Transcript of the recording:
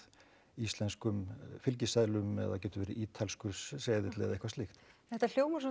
íslenskum fylgiseðlum það getur verið ítalskur seðill eða eitthvað slíkt þetta hljómar